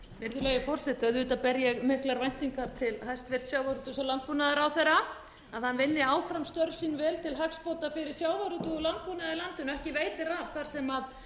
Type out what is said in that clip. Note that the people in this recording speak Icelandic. virðulegi forseti auðvitað ber ég miklar væntingar til hæstvirts sjávarútvegs og landbúnaðarráðherra að hann vinni áfram störf sín vel til hagsbóta fyrir sjávarútveg og landbúnað í landinu ekki veitir af þar sem